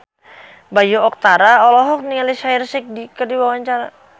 Bayu Octara olohok ningali Shaheer Sheikh keur diwawancara